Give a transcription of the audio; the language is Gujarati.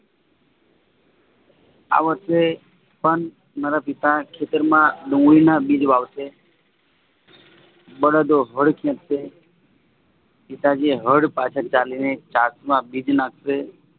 આ વર્ષે પણ મારા પિતા ખેતરમાં ડુંગળીના બીજ વાવશે બળદો હળ ખેંચે પિતાજી હળ પાછળ ચાલીને ચાંચમાં બીજ નાખશે